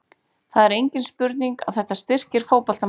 Það er engin spurning að þetta styrkir fótboltamenn.